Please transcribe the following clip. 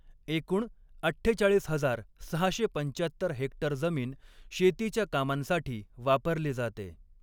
एकूण अठ्ठेचाळीस हजार सहाशे पंचाहत्तर हेक्टर जमीन शेतीच्या कामांसाठी वापरली जाते.